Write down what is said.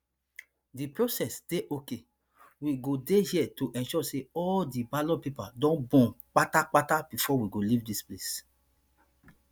di process dey okay we go dey here to ensure say all di ballot papers don burn kpata kpata bifor we go leave dis place